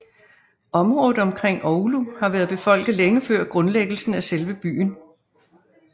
Området omkring Oulu har været befolket længe før grundlæggelsen af selve byen